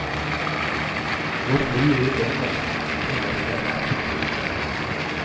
Hvor mye vi drømmer, det varierer.